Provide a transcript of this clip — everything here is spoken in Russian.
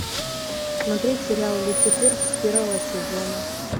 смотреть сериал люцифер с первого сезона